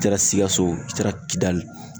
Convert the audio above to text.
I taara sikaso wo, i taara kidali.